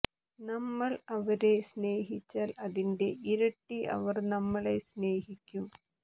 നമ്മൾ അവരെ സ്നേഹിച്ചാൽ അതിന്റെ ഇരട്ടി അവർ നമ്മളെ സ്നേഹിക്കും